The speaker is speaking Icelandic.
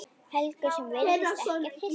Helgu sem virðist ekkert hissa.